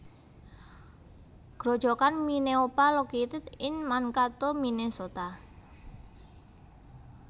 Grojogan Minneopa located in Mankato Minnesota